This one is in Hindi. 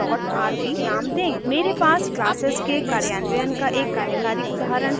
मेरे पास क्लासेस के कार्यान्वयन का एक कार्यकारी उदाहरण है